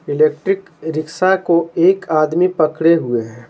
Electric rickshaw को एक आदमी पकड़े हुए हैं।